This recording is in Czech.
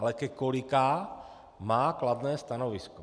Ale ke kolika má kladné stanovisko.